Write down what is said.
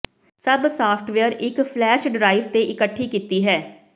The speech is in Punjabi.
ਸਭ ਸਾਫਟਵੇਅਰ ਇੱਕ ਫਲੈਸ਼ ਡਰਾਈਵ ਤੇ ਇਕੱਠੀ ਕੀਤੀ ਹੈ